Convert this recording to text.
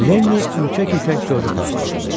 Lenni ürkək-ürkək Corca tərəf baxdı.